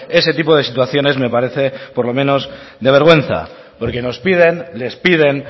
ese tipo de situaciones me parece por lo menos de vergüenza porque nos piden les piden